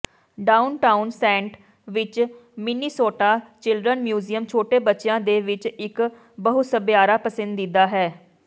downtown Saint ਵਿਚ Minnesota children museum ਛੋਟੇ ਬੱਚਿਆਂ ਦੇ ਵਿਚ ਇਕ ਬਹੁਸੱਭਿਆਰਾ ਪਸੰਦੀਦਾ ਹੈ